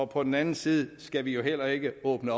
på den anden side skal vi heller ikke åbne